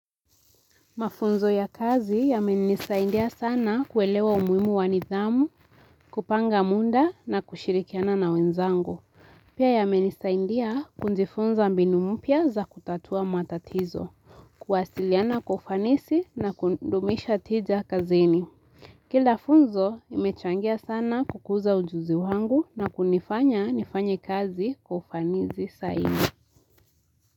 Mafunzo ya kazi yame nisaindia sana kuelewa umuhimu wa nithamu, kupanga mda na kushirikiana na wenzangu. Pia ya menisaindia kujifunza mbinu mpya za kutatua matatizo. Kuwasiliana kwa ufanisi na kundumisha tija kazini. Kila funzo imechangia sana kukuza ujuzi wangu na kunifanya nifanye kazi kwa ufanisi sahihi.